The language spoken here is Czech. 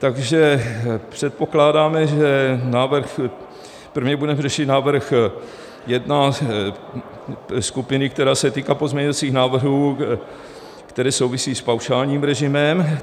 Takže předpokládáme, že návrh, prvně budeme řešit návrh jedna, skupiny, která se týká pozměňovacích návrhů, které souvisí s paušálním režimem.